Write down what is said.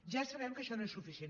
ja sabem que això no és suficient